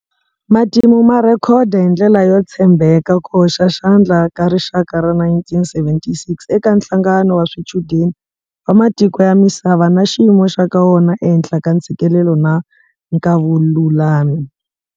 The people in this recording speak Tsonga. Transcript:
Matimu ma rhekhoda hi ndlela yo tshembeka ku hoxa xandla ka rixaka ra 1976 eka nhlangano wa swichudeni wa matiko ya misava na xiyimo xa ka wona ehenhla ka ntshikelelo na nkavululami.